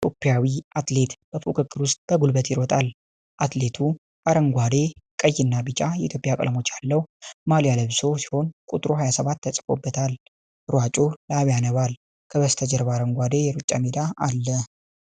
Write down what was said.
ኢትዮጵያዊ አትሌት በፉክክር ውስጥ በጉልበት ይሮጣል። አትሌቱ አረንጓዴ፣ ቀይና ቢጫ የኢትዮጵያ ቀለሞች ያለው ማሊያ ለብሶ ሲሆን ቁጥር 27 ተጽፎበታል። ሯጩ ላብ ያነባል። ከበስተጀርባ አረንጓዴ የሩጫ ሜዳ አለ።